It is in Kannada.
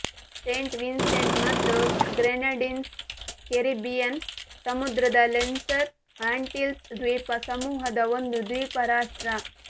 ಸೇಂಟ್ ವಿನ್ಸೆಂಟ್ ಮತ್ತು ಗ್ರೆನಡೀನ್ಸ್ ಕೆರಿಬ್ಬಿಯನ್ ಸಮುದ್ರದ ಲೆಸ್ಸರ್ ಆಂಟಿಲ್ಸ್ ದ್ವೀಪ ಸಮೂಹದ ಒಂದು ದ್ವೀಪ ರಾಷ್ಟ್ರ